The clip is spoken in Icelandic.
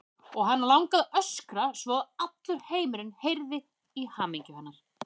Og hana langaði að öskra svo að allur heimurinn heyrði í hamingju hennar.